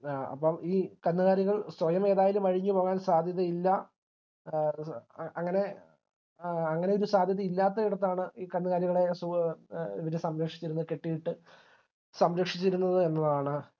A അപ്പോം ഈ കന്നുകാലികൾ സ്വയമേതായാലും അഴിഞ്ഞു പോകാൻ സാധ്യതയില്ല എ അങ്ങനെ എ അങ്ങനെയൊരു സാധ്യത ഇല്ലാത്തിടത്താണ് ഈ കന്നുകാലികളെ സു ഇവർ സംരക്ഷിച്ചിരുന്ന കെട്ടിയിട്ട് സംരക്ഷിച്ചിരുന്നത് എന്നതാണ്